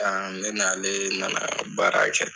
ne n'ae nana baara kɛ.